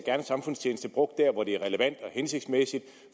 samfundstjeneste brugt der hvor det er relevant og hensigtsmæssigt